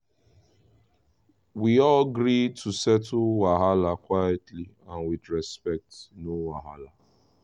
we all gree to settle wahala quietly and with respect no wahala!